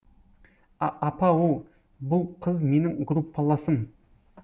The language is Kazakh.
апа оу бұл қыз менің группаласым